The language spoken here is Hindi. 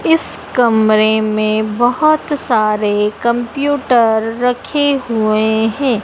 इस कमरे में बहुत सारे कंप्यूटर रखे हुए हैं।